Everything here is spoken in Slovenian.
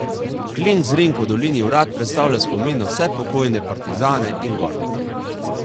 Klink z rinko v dolini Vrat predstavlja spomin na vse pokojne partizane in gornike.